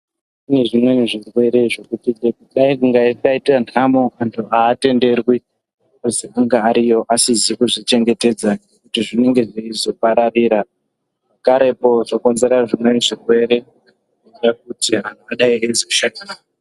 Kune zvimweni zvirwere zvekuti chero dai kukazwi kwaite ntamo antu haatenderwi kuzi ange ariyo asizi kuzvichengetedza ngekuti zvinenge zveizopararira pakarepo zvokonzere zvimweni zvirwere zvekuti antu adai eizoshatirwa ndizvo.